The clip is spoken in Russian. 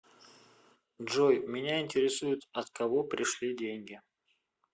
джой меня интересует от кого пришли деньги